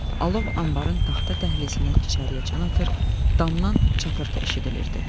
Alov anbarın taxta dəhlizindən içəriyə can atır, damdan çatırtı eşidilirdi.